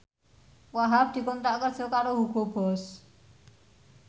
Wahhab dikontrak kerja karo Hugo Boss